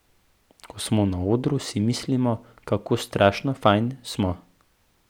Ko smo na odru, si mislimo, kako strašno fajn smo.